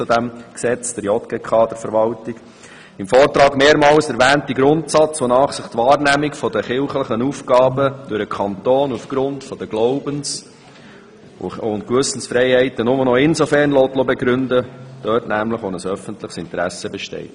Im Vortrag wird der Grundsatz mehrmals erwähnt, dass sich die Finanzierung der kirchlichen Aufgaben durch den Kanton angesichts der Glaubens- und Gewissensfreiheit nur noch dort begründen lässt, wo ein öffentliches Interesse besteht.